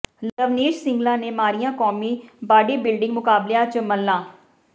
ਲਵਨੀਸ਼ ਸਿੰਗਲਾ ਨੇ ਮਾਰੀਆਂ ਕੌਮੀ ਬਾਡੀ ਬਿਲਡਿੰਗ ਮੁਕਾਬਲਿਆਂ ਚ ਮੱਲਾਂ